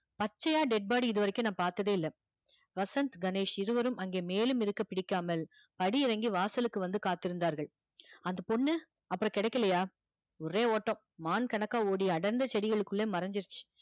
பச்சையா dead body இது வரைக்கும் நான் பார்த்ததே இல்லை வசந்த் கணேஷ் இருவரும் அங்கே மேலும் இருக்க பிடிக்காமல் படி இறங்கி வாசலுக்கு வந்து காத்திருந்தார்கள் அந்த பொண்ணு அப்புறம் கிடைக்கலையா ஒரே ஓட்டம் மான் கணக்கா ஓடி அடர்ந்த செடிகளுக்குள்ள மறைஞ்சிருச்சு